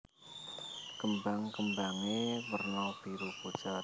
Kembang kembangé werna biru pucet